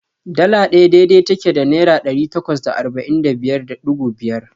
Dala ɗaya dai-dai take da Naira ɗari takwas da arba'in da biyar da ɗigo biyar.